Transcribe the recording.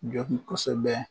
Jaabi kosɛbɛ